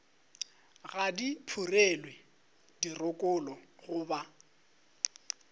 ga di phurelwe dirokolo goba